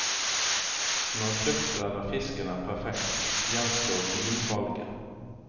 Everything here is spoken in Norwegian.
Når kjøttet eller fisken er perfekt, gjenstår vinvalget.